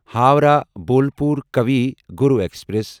Howrah Bolpur Kavi Guru express